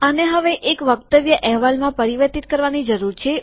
આને હવે એક હેન્ડઆઉટ એટલેકે વક્તવ્ય અહેવાલમાં પરિવર્તિત કરવાની જરૂરીયાત છે